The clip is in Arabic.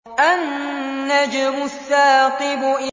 النَّجْمُ الثَّاقِبُ